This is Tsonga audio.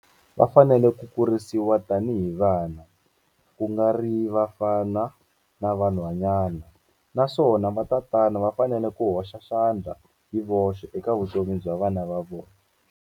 Va fanele ku kurisiwa tanihi vana, ku nga ri vafana na vanhwanyana naswona vatatana va fanele ku hoxa xandla hi voxe eka vutomi bya vana va vona.